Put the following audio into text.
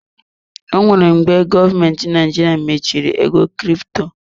E nwere mgbe gọọmenti Naijiria machiri ego crypto.